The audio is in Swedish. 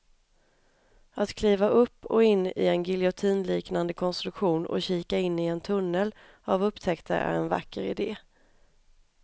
Att kliva upp och in i en giljotinliknande konstruktion och kika in i en tunnel av upptäckter är en vacker idé.